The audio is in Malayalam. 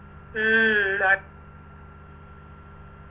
ഉം